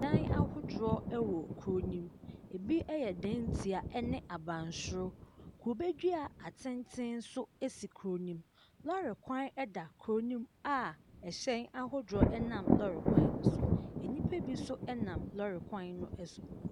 Ɛdan ahodoɔ ɛwɔ kuro no ɛmu. Ebi ɛyɛ dan ntia ɛne abansoro. Kube dua atenten so asisi kuro ne'm. Lɔre kwan ɛda kuro ne'm a ɛhyɛn ahodoɔ nam lɔre kwan no so. Nnipa bi nso ɛnam lɔre kwan no so.